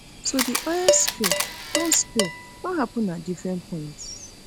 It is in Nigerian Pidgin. so di oil spill don spill don happun at different points